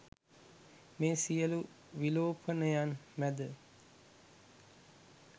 මේ සියලු විලෝපනයන් මැද